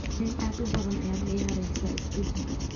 nin aad u badan ayaad ciyaaraysaa, is deji.